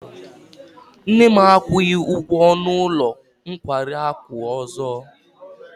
Nne m akwụghị ụgwọ ọnụ ụlọ nkwari akụ ọzọ.